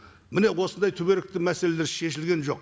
міне осындай түбіректі мәселелер шешілген жоқ